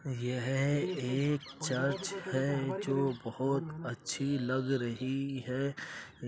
यह एक चर्च है जो बहोत अच्छी लग रही है। ए --